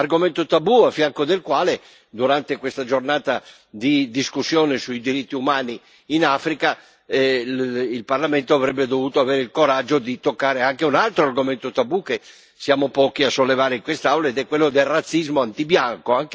Argomento tabù, parallelamente al quale durante questa giornata di discussione sui diritti umani in Africa, il Parlamento avrebbe dovuto avere il coraggio di toccare anche un altro argomento tabù, che siamo pochi a sollevare in quest'Aula, cioè quello del razzismo antibianco.